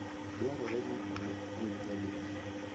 Dwarore ni olwok gwen nyadidi?